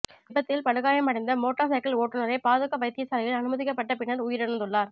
விபத்தில் படுகாயமடைந்த motor cycle ஓட்டுனரை பாதுக்க வைத்தியசாலையில் அனுமதிக்கப்பட்ட பின்னர் உயிரிழந்துள்ளார்